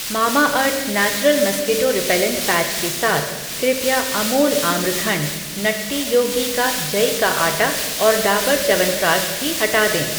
Mamaearth natural mosquito repellent patch के साथ, कृपया अमूल आम्रखंड, नट्टी योगी का जई का आटा और डाबर च्यवनप्राश भी हटा दें।